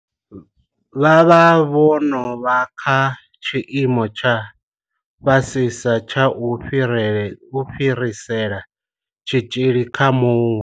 Vha vha vho no vha kha tshiimo tsha fhasisa tsha u fhirisela tshitzhili kha muṅwe muthu.